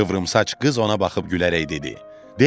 Qıvrımsaç qız ona baxıb gülərək dedi: